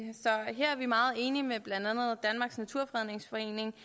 så vi meget enige med blandt andet danmarks naturfredningsforening